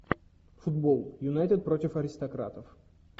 футбол юнайтед против аристократов